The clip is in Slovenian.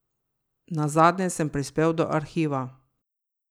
Nazadnje sem prispel do Arhiva.